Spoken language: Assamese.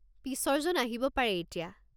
পিছৰজন আহিব পাৰে এতিয়া!